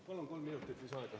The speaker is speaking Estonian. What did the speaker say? Palun kolm minutit lisaaega.